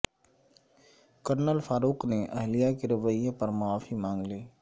colonel Farooq نے اہلیہ کے رویے پرمعافی مانگ لی